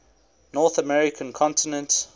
north american continent